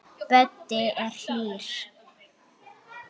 Böddi er hlýr.